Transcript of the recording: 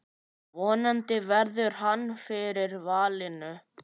Vonandi verður hann fyrir valinu.